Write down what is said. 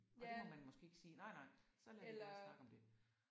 Og det må man måske ikke sige nej nej så lader vi være at snakke om det